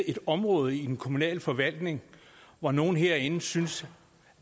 et område i den kommunale forvaltning hvor nogle herinde synes